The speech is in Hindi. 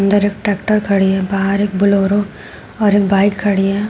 अंदर एक ट्रैक्टर खड़ी है बाहर बोलेरो और एक बाइक खड़ी है।